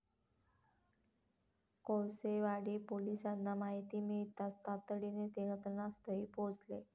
कोळसेवाडी पोलिसांना माहिती मिळताच तातडीने ते घटनास्थळी पोहचले.